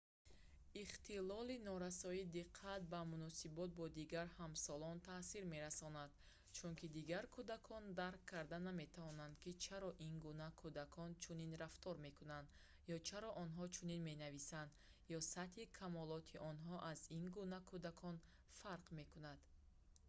игнд ихтилоли норасоии диққат ба муносибот бо дигар ҳамсолон таъсир мерасонад чунки дигар кӯдакон дарк карда наметавонанд ки чаро ин гуна кӯдакон чунин рафтор мекунанд ё чаро онҳо чунин менависанд ё сатҳи камолоти онҳо аз ин гуна кӯдакон фарқ мекунад